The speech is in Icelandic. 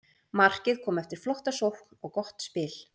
Markið kom eftir flotta sókn og gott spil.